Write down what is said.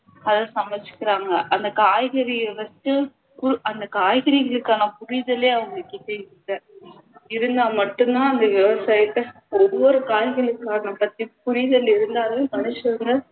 அதை சமைச்சுக்குறாங்க அந்த காய்கறியை வச்சு அந்த காய்கறிகளுக்கான புரிதலே அவங்கக்கிட்ட இல்ல இருந்தா மட்டும் தான் அந்த விவசாயத்தை ஒவ்வொரு காய்கறிக்குமான புரிதல் இருந்தாதான் கடைசி வரை